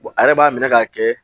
a yɛrɛ b'a minɛ k'a kɛ